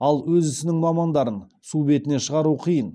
ал өз ісінің мамандарын су бетіне шығару қиын